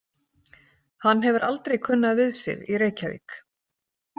Hann hefur aldrei kunnað við sig í Reykjavík.